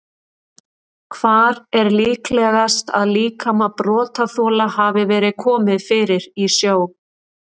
Hvar er líklegast að líkama brotaþola hafi verið komið fyrir í sjó?